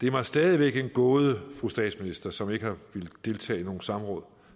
er mig stadig væk en gåde fru statsminister som ikke har villet deltage i nogen samråd